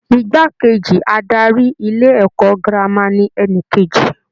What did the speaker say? Igbá kejì adarí ilé-ẹ̀kọ́ girama ni ẹni kejì.